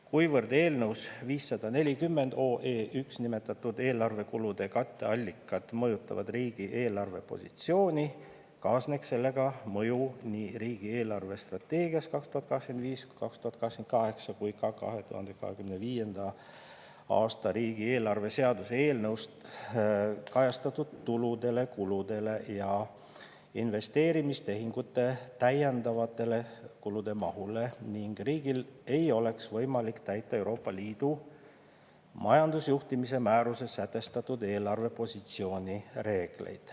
Kuivõrd eelnõus 540 OE I nimetatud eelarvekulude katteallikad mõjutavad riigi eelarvepositsiooni, kaasneks sellega mõju nii riigi eelarvestrateegias 2025-2028 kui ka 2025.a riigieelarve seaduse eelnõus kajastatud tuludele, kuludele ja investeerimistehingute täiendavatele kulude mahule ning riigil ei oleks võimalk täita Euroopa Liidu majandusjuhtimise määruses sätestatud eelarvepositsiooni reegleid.